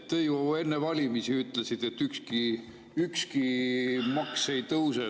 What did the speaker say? Te ju enne valimisi ütlesite, et ükski maks ei tõuse.